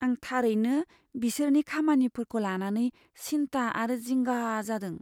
आं थारैनो बिसोरनि खामानिफोरखौ लानानै सिन्था आरो जिंगा जादों।